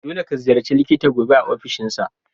Dolle ka ziyarace likita gobe a ofishinsa.